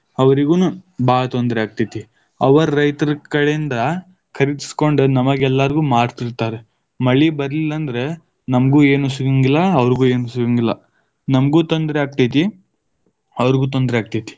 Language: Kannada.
ಅವರಿಗೂನು ಬಾಳ ತೊಂದರೆ ಆಗ್ತೈತಿ, ಅವ ರೈತರ ಕಡೆಯಿಂದ ಖರೀದಿಸಿಕೊಂಡ ನಮಗ ಎಲ್ಲಾಗು೯ ಮಾರ್ತಿತಾ೯ರ. ಮಳಿ ಬರ್ಲಿಲ್ಲ ಅಂದ್ರ ನಮಗೂ ಏನು ಸಿಗೆಂಗಿಲ್ಲಾ, ಅವ್ರುಗೂ ಏನು ಸಿಗುಂಗಿಲ್ಲಾ. ನಮಗೂ ತೊಂದರೆ ಆಗತೈತಿ, ಅವ್ರುಗೂ ತೊಂದರೆ ಆಗತೈತಿ.